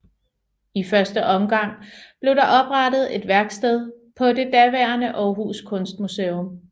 I første omgang blev der oprettet et værksted på det daværende Aarhus Kunstmuseum